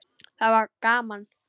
Það var gaman.